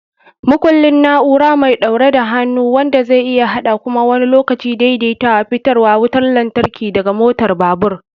Makullin: na'ura mai ɗaure da hannu wanda zai iya haɗa (kuma wani lokacin daidaitawa) fitarwar wutar lantarki daga motar babur.